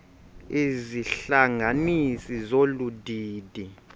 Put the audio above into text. izihlanganisi zolu didi